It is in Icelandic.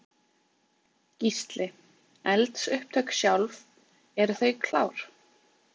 Gísli: Eldsupptök sjálf, eru þau klár?